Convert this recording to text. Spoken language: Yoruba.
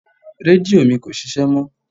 Rédíò mi kò ṣíṣe mó.